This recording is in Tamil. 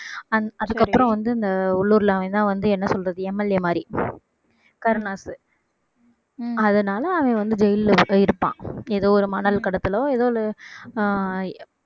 அந்~ அதுக்கு அப்புறம் வந்து இந்த உள்ளூர்ல அவன்தான் வந்து என்ன சொல்றது MLA மாதிரி கருணாஸ் அதனால அவன் வந்து ஜெயில்ல இருப்~ இருப்பான் ஏதோ ஒரு மணல் கடத்தலோ ஏதோ ஒரு ஆஹ்